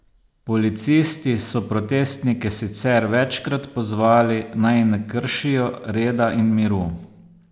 Policisti so protestnike sicer večkrat pozvali, naj ne kršijo reda in miru.